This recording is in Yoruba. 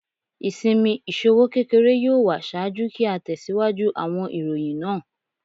Isinmi iṣowo kekere yoo wa ṣaaju ki a tẹsiwaju awọn iroyin naa